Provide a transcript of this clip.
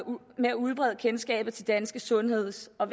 med at udbrede kendskabet til danske sundheds og